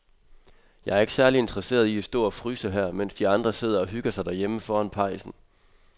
Jeg er ikke særlig interesseret i at stå og fryse her, mens de andre sidder og hygger sig derhjemme foran pejsen.